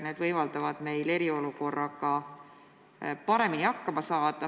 Selgus võimaldab meil eriolukorraga paremini hakkama saada.